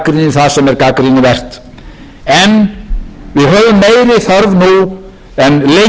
það sem er gagnrýnivert en við höfum meiri þörf nú en lengi fyrir að stilla saman strengi og